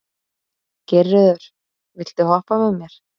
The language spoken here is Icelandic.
Geirröður, viltu hoppa með mér?